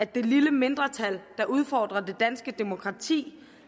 det lille mindretal der udfordrer det danske demokrati